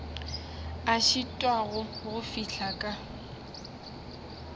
a šitwago go fihla ka